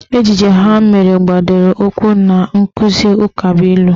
Ejije ha mere gbadoro ụkwụ na nkụzi ukabụilu